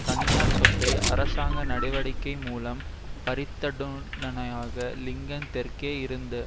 தனியார் சொத்தை அரசாங்க நடவடிக்கை மூலம் பறித்தனூடாக லிங்கன் தெற்கே இருந்த